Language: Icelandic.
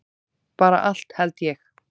Bara allt held ég.